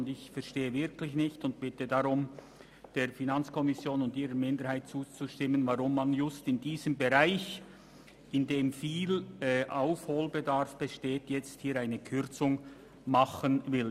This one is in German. Und ich verstehe wirklich nicht, weshalb man genau in diesem Bereich, wo viel Aufholbedarf besteht, eine Kürzung machen will.